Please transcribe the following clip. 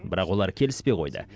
бірақ олар келіспей қойды